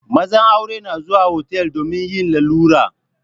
Mazan aure na zuwa otal domin yin lalura.